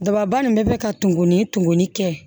Dababa nin bɛ bɛ ka tumuni tumuni kɛ